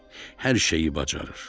Hər şeyi bacarır.